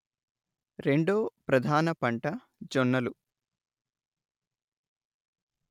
రెండో ప్రధాన పంట జొన్నలు